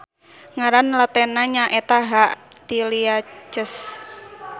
Ngaran latenna nyaeta H. tiliaceus.